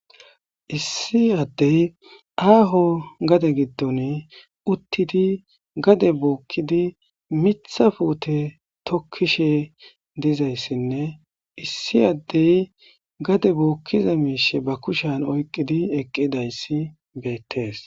Issi addey aaho gade giddon uttidi gade bookkidi miththa puute tokkishe dizayssinne issi addey gade bookkiza miishshe ba kushan oyqqidi eqqidayssi beettees.